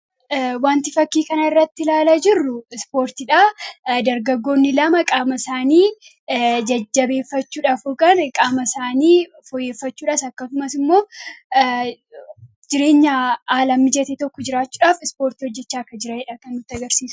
Wanti fakkii kana irratti ilaalaa jirru ispoortiidha. dargagoonni lama qaama isaanii jajjabeeffachuudhaaf yookaan qaama isaanii foyyeeffachuudhas akkasumas immoo jireenya haalaan mijatee tokko jiraachuudhaaf ispoortii hojjechaa akka jiranidha kan nutti agarsiisu.